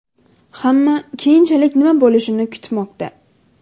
Hamma keyinchalik nima bo‘lishini kutmoqda.